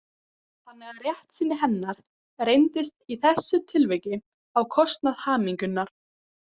Þannig að réttsýni hennar reyndist í þessu tilviki á kostnað hamingjunnar.